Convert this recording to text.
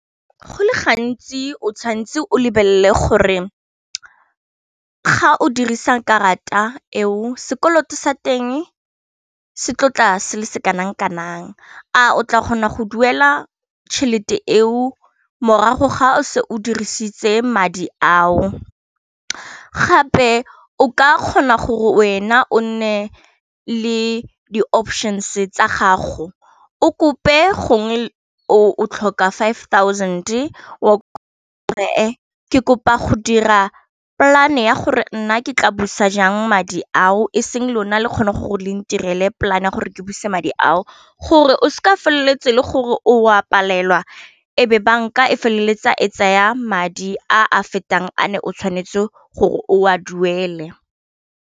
Go le gantsi o tshwanetse o lebelele gore ga o dirisa karata eo sekoloto sa teng setlotla se le se kanang-kanang, a o tla kgona go duela tšhelete eo morago ga o se o dirisitse madi ao, gape o ka kgona gore wena o nne le di options tsa gago o kope gongwe o tlhoka five thousand kopa go dira polane ya gore nna ke tla busa jang madi ao e seng lona le kgone gore le ntirele polane gore ke buse madi ao gore o seka wa feleletsa gore o a palelwa e be banka e feleletsa e tsaya madi a a fetang a ne o tshwanetse gore o a duele.